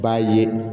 B'a ye